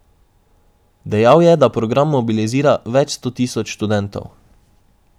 Dejal je, da program mobilizira več sto tisoč študentov.